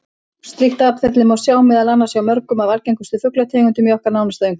Slíkt atferli má sjá meðal annars hjá mörgum af algengustu fuglategundunum í okkar nánasta umhverfi.